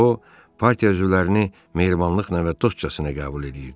O, partiya üzvlərini mehribanlıqla və dostcasına qəbul eləyirdi.